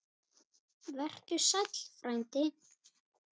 Vertu sæll, frændi.